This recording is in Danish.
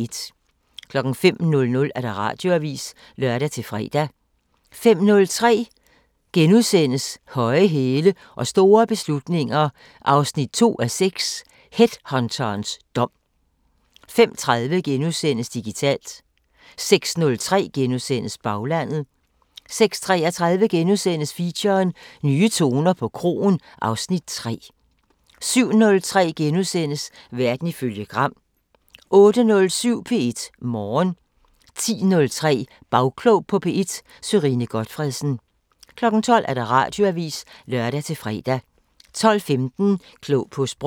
05:00: Radioavisen (lør-fre) 05:03: Høje hæle og store beslutninger 2:6 – Headhunterens dom * 05:30: Digitalt * 06:03: Baglandet * 06:33: Feature: Nye toner på kroen (Afs. 3)* 07:03: Verden ifølge Gram * 08:07: P1 Morgen 10:03: Bagklog på P1: Sørine Gotfredsen 12:00: Radioavisen (lør-fre) 12:15: Klog på Sprog